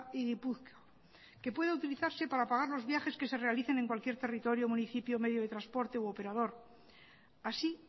y gipuzkoa que pueda utilizarse para pagar los viajes que se realicen en cualquier territorio municipio medio de transporte u operador así